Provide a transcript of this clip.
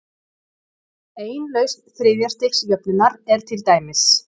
Ein lausn þriðja-stigs jöfnunnar er til dæmis